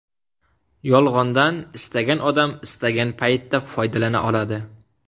Yolg‘ondan istagan odam, istagan paytda foydalana oladi.